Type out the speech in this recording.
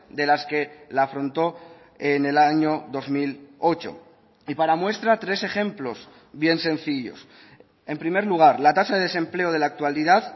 de las que la afrontó en el año dos mil ocho y para muestra tres ejemplos bien sencillos en primer lugar la tasa de desempleo de la actualidad